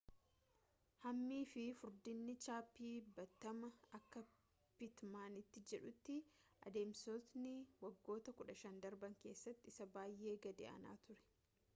hammii fi furdinni cabbii baatamaa akka pitmanti jedhutti adamsitoota siilii’f waggoota 15 darban keessatti isaa baay’ee gad aanaa ture